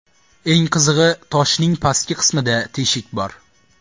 Eng qizig‘i, toshning pastki qismida teshik bor.